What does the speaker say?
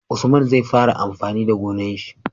Usman zai fara amfani da gonar shi